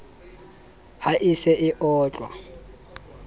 ha e se e otla